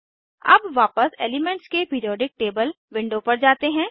अब वापस एलीमेन्ट्स के पिरीऑडिक टेबल विंडो पर जाते हैं